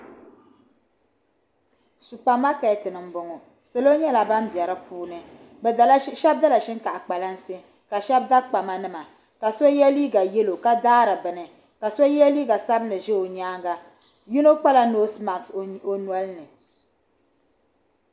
Supar ma keti ni n bɔŋɔ. salɔ nyɛla ban be di puuni. shebi dala shin kaafa kpalansi ka shebi da kpama nima. ka shebi ye liiga yelɔw ka daari bɛni kaso liiga sabinli ʒɛ ɔ nyaaŋa. yinɔ kpala nɔsemats ɔ nɔlini.